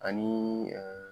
A niii